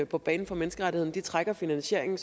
på banen for menneskerettighederne trækker finansieringen